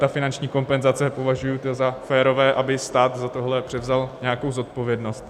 Ta finanční kompenzace - považuji za férové, aby stát za tohle převzal nějakou zodpovědnost.